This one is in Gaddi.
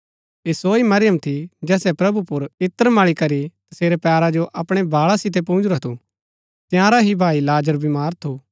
ऐह सो ही मरियम थी जैसे प्रभु पुर इत्र मळी करी तसेरै पैरा जो अपणै बाळा सितै पुजूंरा थू तंयारा ही भाई लाजर बीमार थू